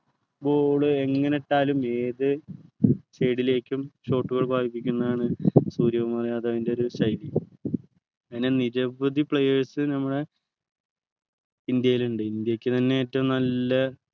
ball എങ്ങനെ ഇട്ടാലും ഏത് side ലേക്കും short കൾ പായിപ്പിക്കുന്നതാണു സൂര്യകുമാർ യാദവിൻ്റെ ഒരു ശൈലി അങ്ങനെ നിരവധി players നമ്മളെ ഇന്ത്യയിലുണ്ട് ഇന്ത്യക്ക് തന്നെ ഏറ്റവും നല്ല